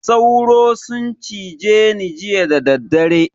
Sauro sun cize ni jiya dadaddare.